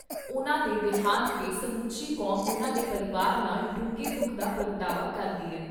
ਉਨ੍ਹਾਂ ਦੇ ਦੇਹਾਂਤ 'ਤੇ ਸਮੁੱਚੀ ਕੌਮ ਉਨ੍ਹਾਂ ਦੇ ਪਰਿਵਾਰ ਨਾਲ ਡੂੰਘੇ ਦੁੱਖ ਦਾ ਪ੍ਰਗਟਾਵਾ ਕਰਦੀ ਏ।